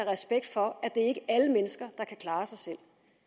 respekt for at det er alle mennesker der kan klare sig selv